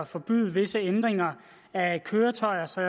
forbyde visse ændringer af køretøjer så